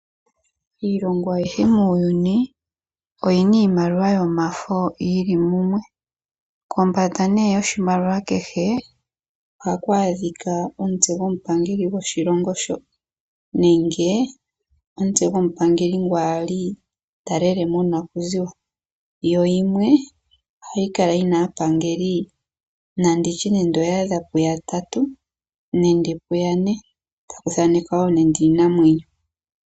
Iilongo ayihe muuyuni oyina iimaliwa yomafo yili mumwe nokombanda yoshimaliwa kehe ohaku adhika omutse gomupangeli gwoshilongo sho nenge omutse gwomupangeli ngu ali talele monakuziwa, yimwe ohayika lyathaanekwa aapangeli yatatu nenge ya ne ko takuthaanekwa iinamwenyo.